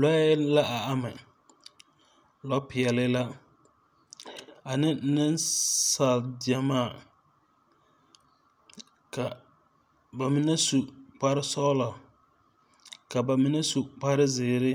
lɔɔɛ la a ama. lɔpɛɛli la ane nesaal gyamaa ka ba mene su kpar sɔglɔ ka ba mene su kpar ziire